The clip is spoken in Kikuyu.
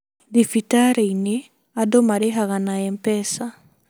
Thibitarĩ -inĩ andũ marĩhaga na MPESA